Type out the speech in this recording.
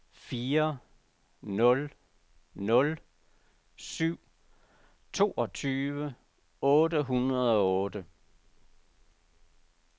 fire nul nul syv toogtyve otte hundrede og otte